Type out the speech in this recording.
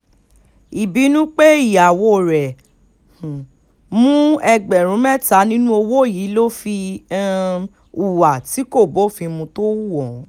ìbínú pé ìyàwó rẹ̀ um mú ẹgbẹ̀rún mẹ́ta nínú owó yìí ló fi um hùwà tí kò bófin mu tó hu ohun